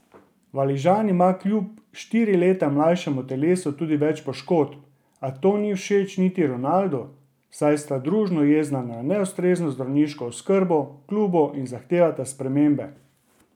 Valižan ima kljub štiri leta mlajšemu telesu tudi več poškodb, a to ni všeč niti Ronaldu, saj sta družno jezna na neustrezno zdravniško oskrbo v klubu in zahtevata spremembe.